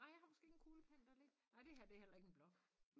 Nej jeg har måske heller ikke en kuglepen der lige nej det her det heller ikke en blok